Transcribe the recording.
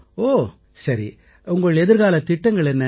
ஓ உங்கள் எதிர்காலத் திட்டங்கள் என்ன